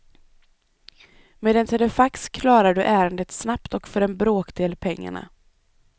Med en telefax klarar du ärendet snabbt och för en bråkdel pengarna.